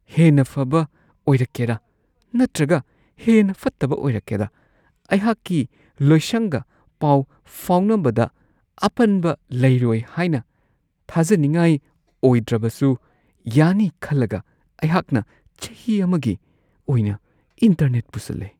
ꯍꯦꯟꯅ ꯐꯕ ꯑꯣꯏꯔꯛꯀꯦꯔꯥ ꯅꯠꯇ꯭ꯔꯒ ꯍꯦꯟꯅ ꯐꯠꯇꯕ ꯑꯣꯏꯔꯛꯀꯦꯔꯥ! ꯑꯩꯍꯥꯛꯀꯤ ꯂꯣꯏꯁꯪꯒ ꯄꯥꯎ ꯐꯥꯎꯅꯕꯗ ꯑꯄꯟꯕ ꯂꯩꯔꯣꯏ ꯍꯥꯏꯅ ꯊꯥꯖꯅꯤꯡꯉꯥꯏ ꯑꯣꯏꯗ꯭ꯔꯕꯁꯨ ꯌꯥꯅꯤ ꯈꯜꯂꯒ ꯑꯩꯍꯥꯛꯅ ꯆꯍꯤ ꯑꯃꯒꯤ ꯑꯣꯏꯅ ꯏꯟꯇꯔꯅꯦꯠ ꯄꯨꯁꯜꯂꯦ ꯫